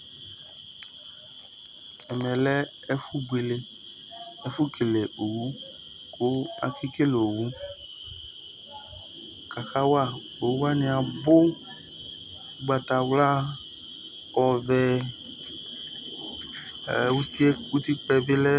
ɛmɛlɛ ɛfu buele, ɛfʊ kele owu, kʊ akekele owʊ, owʊwanɩ abʊ, ugbatawla, ɔvɛ, utikpǝ yɛ bɩ lɛ